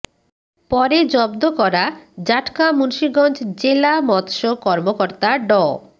পরে জব্দ করা জাটকা মুন্সীগঞ্জ জেলা মৎস্য কর্মকর্তা ড